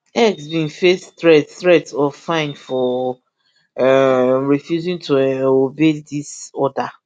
x bin face threats threats of fine for um refusing to um obey dis order